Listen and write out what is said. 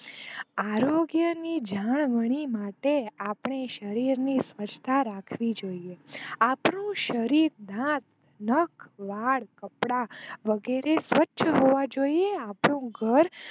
આરોગ્ય જાળવણી ની માટે આપણે શરીર ની સ્વચ્છ તા રાખવી જોઈએ આપણું શરીર, નાક, નાખ, વાળ, કપડાં વગેરે સ્વચ્છ હોવા જોઈએ. આપણું ઘર